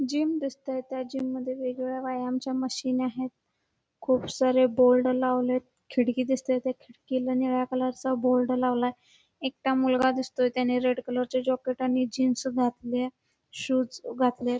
Gym दिसतंय त्या gym मध्ये वेगवेगळ्या व्यायामाच्या मशीन आहेत खूप सारे बोर्ड लावलेत खिडकी दिसते त्या खिककी ला निळा कलरचा बोर्ड लावलाय एकटा मुलगा दिसतोय त्याने रेड कलरच जॅकेट आणि जीन्स घातलेय शूज घातलेत.